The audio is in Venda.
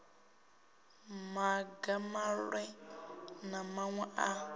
maga maṅwe na maṅwe a